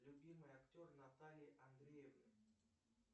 любимый актер натальи андреевны